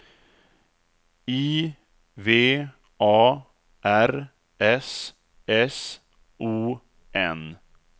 I V A R S S O N